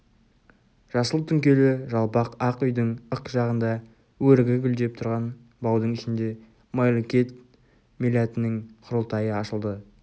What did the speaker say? жасыл түңкелі жалпақ ақ үйдің ық жағында өрігі гүлдеп тұрған баудың ішінде майлыкент милләтінің құрылтайы ашылды